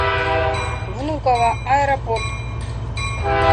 внуково аэропорт